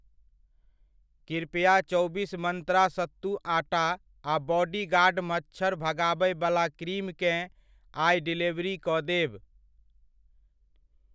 कृपया चौबीस मंत्रा सत्तू आटा आ बॉडीगार्ड मच्छर भगाबयवला क्रीम केँ आइ डिलीवरी कऽ देब।